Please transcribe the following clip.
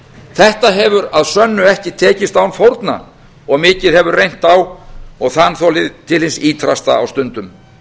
þetta hefur að sönnu ekki tekist án fórna og mikið hefur reynt á og þanþolið til hins ýtrasta á stundum